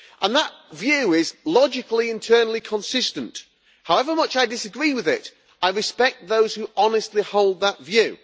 That view is logically internally consistent, and however much I disagree with it, I respect those who honestly hold that view.